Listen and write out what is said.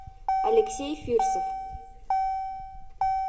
алексей фирсов